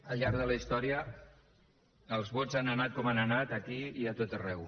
al llarg de la història els vots han anat com han anat aquí i a tot arreu